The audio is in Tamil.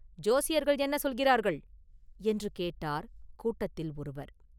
“ஜோசியர்கள் என்ன சொல்கிறார்கள்?” என்று கேட்டார் கூட்டத்தில் ஒருவர்.